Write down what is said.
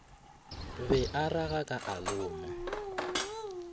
be a ragaka a loma